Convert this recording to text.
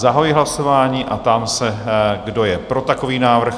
Zahajuji hlasování a ptám se, kdo je pro takový návrh?